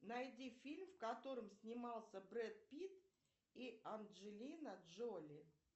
найди фильм в котором снимался брэд питт и анджелина джоли